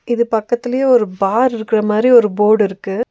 இது பக்கத்துலயே ஒரு பார் இருக்குற மாரி ஒரு போடிருக்கு .